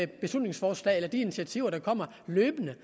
beslutningsforslag eller initiativer der kommer løbende